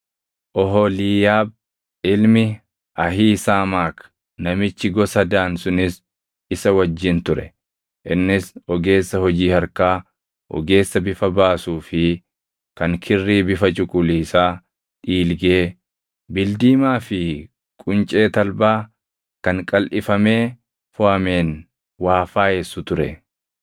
Oholiiyaab ilmi Ahiisaamaak namichi gosa Daan sunis isa wajjin ture; innis ogeessa hojii harkaa, ogeessa bifa baasuu fi kan kirrii bifa cuquliisaa, dhiilgee, bildiimaa fi quncee talbaa kan qalʼifamee foʼameen waa faayessu ture.